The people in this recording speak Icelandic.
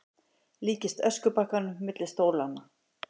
Líkist öskubakkanum milli stólanna.